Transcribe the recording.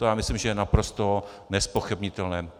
To si myslím, že je naprosto nezpochybnitelné.